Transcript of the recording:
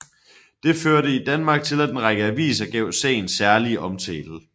Det førte i Danmark til at en række aviser gav sagen særlig omtale